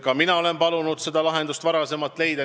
Ka mina olen palunud neil see lahendus varem leida.